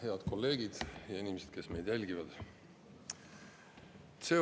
Head kolleegid ja inimesed, kes meid jälgivad!